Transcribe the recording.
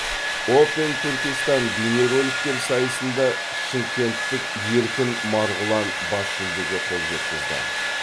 опен түркистан бейнероликтер сайысында шымкенттік еркін марғұлан бас жүлдеге қол жеткізді